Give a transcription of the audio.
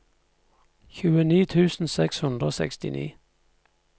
tjueni tusen seks hundre og sekstini